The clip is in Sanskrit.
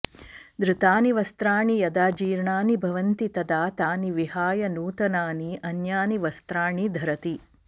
धृतानि वस्त्राणि यदा जीर्णानि भवन्ति तदा तानि विहाय नूतनानि अन्यानि वस्त्राणि धरति